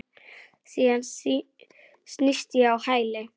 Síðan snýst ég á hæli.